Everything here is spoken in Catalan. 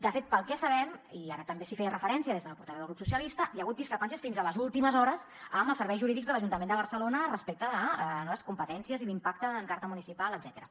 de fet pel que sabem i ara també s’hi feia referència des de la portaveu del grup socialistes hi ha hagut discrepàncies fins a les últimes hores amb els serveis jurídics de l’ajuntament de barcelona respecte de les competències i l’impacte en carta municipal etcètera